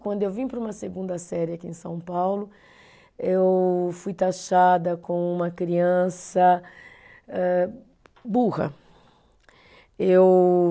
Quando eu vim para uma segunda série aqui em São Paulo, eu fui taxada como uma criança âh, burra. Eu